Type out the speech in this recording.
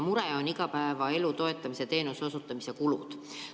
Mureks on igapäevaelu toetamise teenuse osutamise kulud.